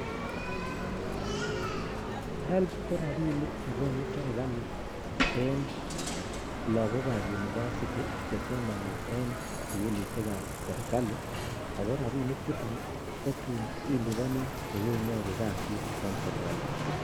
Helb ko rabinik che konu serkali eng logookab university chesomi eng sukulisiekab serkali, eng rabini chuton kotuniliponi koleinyoru kasit eng serkali